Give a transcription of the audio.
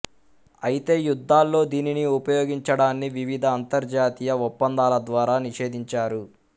అయితే యుద్ధాల్లో దీనిని ఉపయోగించడాన్ని వివిధ అంతర్జాతీయ ఒప్పందాల ద్వారా నిషేధించారు